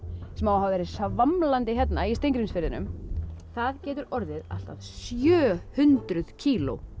sem á að hafa verið svamlandi hérna í Steingrímsfirðinum það getur orðið allt að sjö hundruð kíló